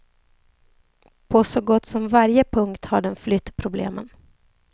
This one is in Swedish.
På så gott som varje punkt har den flytt problemen.